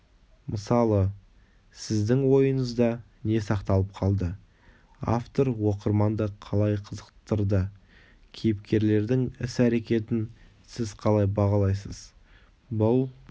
мысалы сіздің ойыңызда не сақталып қалды автор оқырманды қалай қызықтырды кейіпкерлердің іс-әрекетін сіз қалай бағалайсыз бұл